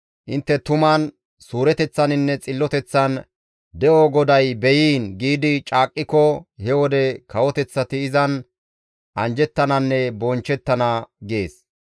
intte tuman, suureteththaninne xilloteththan, ‹De7o GODAY beyiin!› giidi caaqqiko, he wode kawoteththati izan anjjettananne bonchchettana» gees.